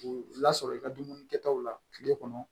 K'u lasɔrɔ i ka dumuni kɛtaw la kile kɔnɔ